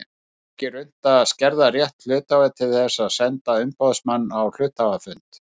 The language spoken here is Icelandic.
Ekki er unnt að skerða rétt hluthafa til þess að senda umboðsmann á hluthafafund.